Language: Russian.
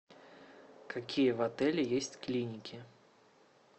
какие в отеле есть клиники